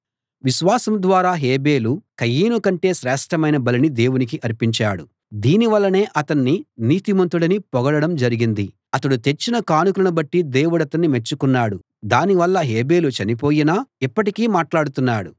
విశ్వాసం ద్వారా హేబెలు కయీను కంటే శ్రేష్ఠమైన బలిని దేవునికి అర్పించాడు దీని వల్లనే అతణ్ణి నీతిమంతుడని పొగడడం జరిగింది అతడు తెచ్చిన కానుకలను బట్టి దేవుడతణ్ణి మెచ్చుకున్నాడు దాని వల్ల హేబెలు చనిపోయినా ఇప్పటికీ మాట్లాడుతున్నాడు